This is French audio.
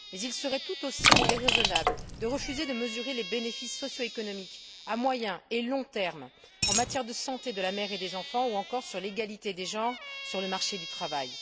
Mais il serait tout aussi déraisonnable de refuser de mesurer les bénéfices socioéconomiques à moyen et long terme, en matière de santé de la mère et des enfants, ou encore sur l'égalité des genres sur le marché du travail.